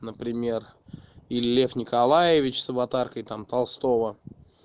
например или лев николаевич с аватаркой там толстого